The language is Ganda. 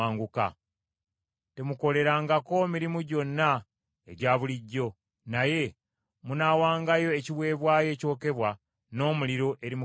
Temukolerangako mirimu gyonna egya bulijjo, naye munaawangayo ekiweebwayo ekyokebwa n’omuliro eri Mukama Katonda.”